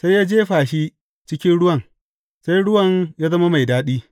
Sai ya jefa shi cikin ruwan, sai ruwan ya zama mai daɗi.